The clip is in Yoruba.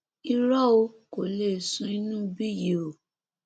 irọ ò kò lè sùn inú ibí yìí o